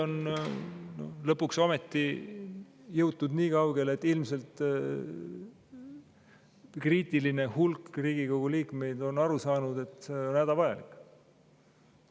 Nüüd on lõpuks ometi jõutud nii kaugele, et ilmselt kriitiline hulk Riigikogu liikmeid on aru saanud, et see on hädavajalik.